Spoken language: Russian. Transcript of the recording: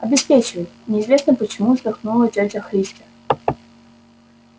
обеспечивает неизвестно почему вздохнула тётя христя